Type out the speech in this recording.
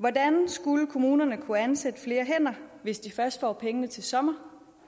hvordan skulle kommunerne kunne ansætte flere hvis de først får pengene til sommer